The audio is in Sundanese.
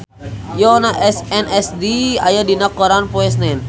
Yoona SNSD aya dina koran poe Senen